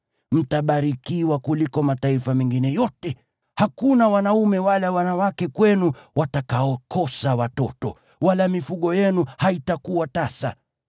Mtabarikiwa kuliko mataifa mengine yote, hakuna wanaume wala wanawake kwenu watakaokosa watoto, wala mifugo yenu haitakuwa tasa.